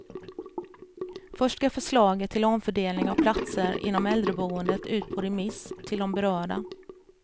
Först ska förslaget till omfördelning av platser inom äldreboendet ut på remiss till de berörda.